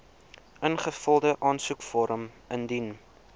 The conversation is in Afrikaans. ingevulde aansoekvorm indien